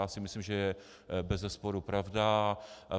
Já si myslím, že to je bezesporu pravda.